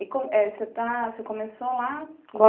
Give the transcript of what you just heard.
E você começou lá?